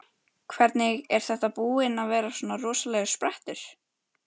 Hvernig, er þetta búinn að vera rosalegur sprettur?